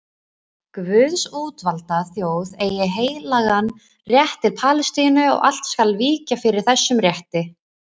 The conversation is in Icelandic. Guðs útvalda þjóð eigi heilagan rétt til Palestínu og allt skal víkja fyrir þessum rétti.